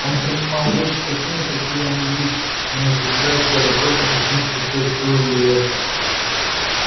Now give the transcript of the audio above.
он принимал вещи такими как они есть не утруждая себя вопросом почему случилось то или это